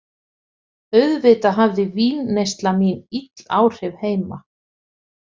Auðvitað hafði vínneysla mín ill áhrif heima.